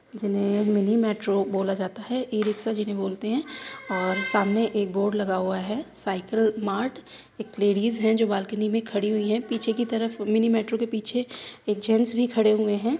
जिन्हे mini metro बोला जाता है ई रिक्शा जिन्हे बोलते हैं और सामने एक बोर्ड लगा हुआ है साइकिल मार्ट । एक लेडीज हैं जो बालकनी में खड़ी हुई है पीछे की तरफ मिनी मेट्रो के पीछे एक जेंट्स भी खड़े हुए हैं।